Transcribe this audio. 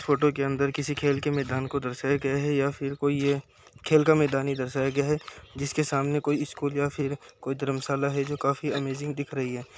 Photo के अंदर किसी खेल के मैदान को दर्शाया गया है या फिर कोई ये खेल का मैदान ही दर्शाया गया है जिसके सामने कोई स्कूल या फिर कोई धर्मशाला है जो काफी अमेजिंग दिख रही है।